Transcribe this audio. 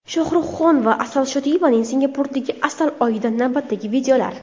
Shohruxxon va Asal Shodiyevaning Singapurdagi asal oyidan navbatdagi videolar.